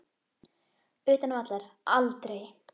Utan vallar: Aldrei.